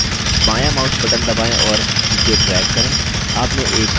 बायाँmouse button दबाएँ और नीचे drag करें